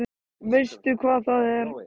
Veistu hvað það er?